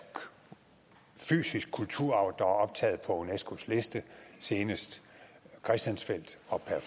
fysisk kulturarv er optaget på unescos liste senest christiansfeld